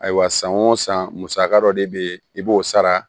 Ayiwa san o san musaka dɔ de be yen i b'o sara